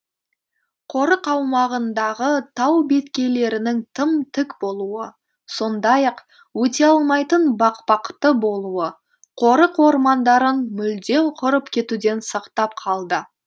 қорық аумағындағы тау беткейлерінің тым тік болуы сондай ақ өте алмайтын бақпақты болуы қорық ормандарын мүлдем құрып кетуден сақтап қалды